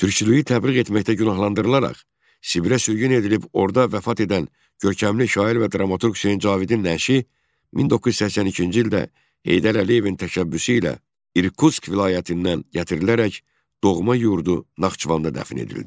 Türkçülüyü təbliğ etməkdə günahlandırılaraq, Sibirə sürgün edilib orda vəfat edən görkəmli şair və dramaturq Hüseyn Cavidin nəşi 1982-ci ildə Heydər Əliyevin təşəbbüsü ilə İrkutsk vilayətindən gətirilərək doğma yurdu Naxçıvanda dəfn edildi.